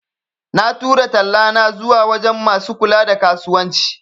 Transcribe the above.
Na tura tallana zuwa wajan masu kula da kasuwanci